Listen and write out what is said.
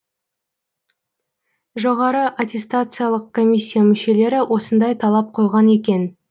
жоғары аттестациялық комиссия мүшелері осындай талап қойған екен